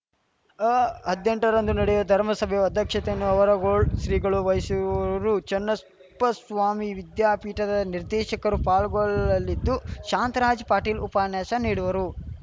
ಅಹದ್ನೆಂಟ ರಂದು ನಡೆಯುವ ಧರ್ಮಸಭೆಯ ಅಧ್ಯಕ್ಷತೆಯನ್ನು ಆವರಗೊಳ್ ಶ್ರೀಗಳು ವಹಿಸುವರು ಚನ್ನಪ್ಪಸ್ವಾಮಿ ವಿದ್ಯಾಪೀಠದ ನಿದೇಶಕರು ಪಾಲ್ಗೊಳ್ಳಲಿದ್ದು ಶಾಂತರಾಜ್‌ ಪಾಟೀಲ್‌ ಉಪನ್ಯಾಸ ನೀಡುವರು